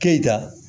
Keyita